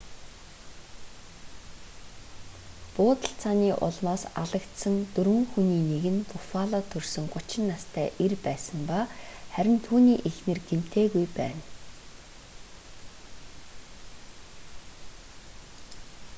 буудалцааны улмаас алагдсан дөрвөн хүний нэг нь буффалод төрсөн 30 настай эр байсан ба харин түүний эхнэр гэмтээгүй байна